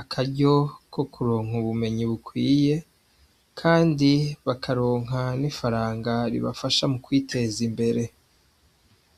akaryo ko kuronka ubumenyi bukwiye, kandi bakaronka n'ifaranga ribafasha mu kwiteza imbere.